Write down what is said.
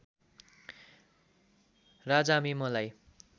राजामे मलाई